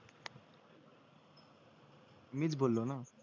मीच बोललो ना